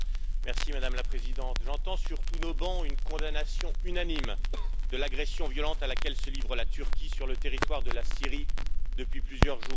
Madame la Présidente, j'entends sur tous nos bancs une condamnation unanime de l'agression violente à laquelle se livre la Turquie sur le territoire de la Syrie, depuis plusieurs jours.